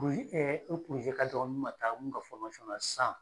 O ye o ka dɔgɔ n ma taa mun ka san.